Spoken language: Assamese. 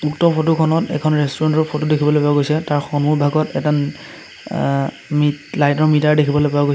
উক্ত ফটো খনত এখন ৰেষ্টুৰেণ্ট ৰ ফটো দেখিবলৈ পোৱা গৈছে তাৰ সন্মুখভাগত এটা আ মিট লাইট ৰ মিটাৰ দেখিবলৈ পোৱা গৈছে।